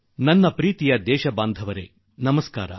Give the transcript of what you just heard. ನ್ನೊಲವಿನ ದೇಶವಾಸಿಗಳೇ ನಮಸ್ಕಾರ